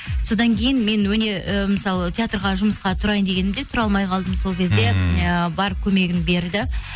содан кейін мен ы мысалы театрға жұмысқа тұрайын дегенімде тұра алмай қалдым сол кезде ы бар көмегін берді